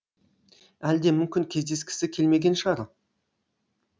әлде мүмкін кездескісі келмеген шығар